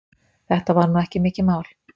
Þetta var nú ekki mikið mál.